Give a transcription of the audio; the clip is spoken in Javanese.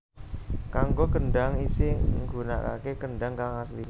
Kanggo kendang isih nggunakake kendang kang asli